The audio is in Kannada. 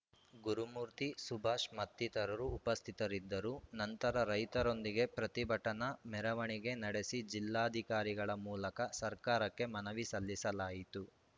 ಗುರುಮೂರ್ತಿ ಸುಭಾಷ್‌ ಮತ್ತಿತರರು ಉಪಸ್ಥಿತರಿದ್ದರು ನಂತರ ರೈತರೊಂದಿಗೆ ಪ್ರತಿಭಟನಾ ಮೆರವಣಿಗೆ ನಡೆಸಿ ಜಿಲ್ಲಾಧಿಕಾರಿಗಳ ಮೂಲಕ ಸರ್ಕಾರಕ್ಕೆ ಮನವಿ ಸಲ್ಲಿಸಲಾಯಿತು